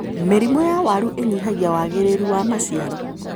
Mĩrimũ ya waru ĩnyihagia wagĩrĩru wa maciaro.